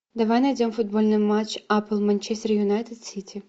давай найдем футбольный матч апл манчестер юнайтед сити